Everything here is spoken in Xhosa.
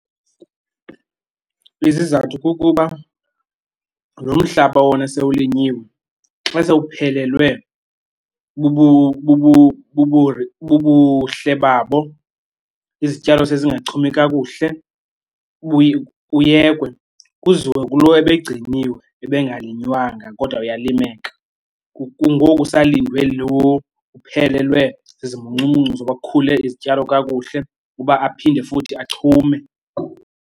Izizathu kukuba lo mmhlaba wona sewulinyiwe xa sewuphelelwe bubuhle babo izityalo sezingachumi kakuhle, buye buyekwe. Kuziwe kulo ebegciniwe ebengalinywanga kodwa uyalimeka, ngoko kusilndwe lo uphelelwe zizimuncumuncu zoba kukhule izityalo kakuhle uba aphinde futhi achume.